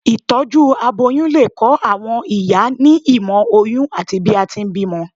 itọju aboyún le kọ àwọn ìyá ní ìmọ oyin ati bi a ti n bímọ